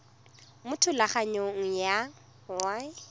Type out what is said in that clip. mo thulaganyong ya thuso y